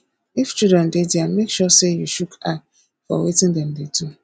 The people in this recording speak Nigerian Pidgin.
if children de there make sure say you shook eye for wetin dem de do